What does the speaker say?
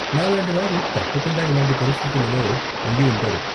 నాలాంటి వారు తప్పకుండా ఇలాంటి పరిస్థితులలో ఉండి ఉంటారు.